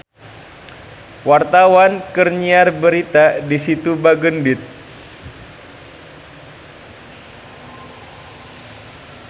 Wartawan keur nyiar berita di Situ Bagendit